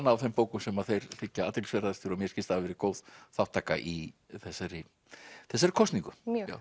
á þeim bókum sem þeim þykja athyglisverðastar og mér skilst hafi verið góð þátttaka í þessari þessari kosningu mjög já